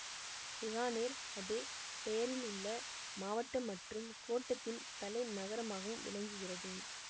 பிகானேர் அதே பெயரிலுள்ள மாவட்டம் மற்றும் கோட்டத்தின் தலைநகரமாகவும் விளங்குகிறது